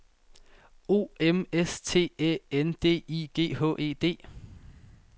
O M S T Æ N D I G H E D